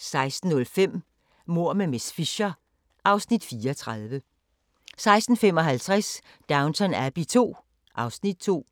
16:05: Mord med miss Fisher (Afs. 34) 16:55: Downton Abbey II (Afs. 2)